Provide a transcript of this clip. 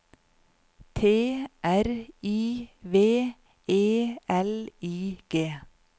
T R I V E L I G